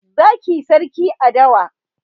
zaki sarki a dawa